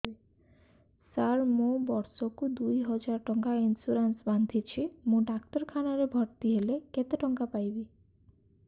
ସାର ମୁ ବର୍ଷ କୁ ଦୁଇ ହଜାର ଟଙ୍କା ଇନ୍ସୁରେନ୍ସ ବାନ୍ଧୁଛି ମୁ ଡାକ୍ତରଖାନା ରେ ଭର୍ତ୍ତିହେଲେ କେତେଟଙ୍କା ପାଇବି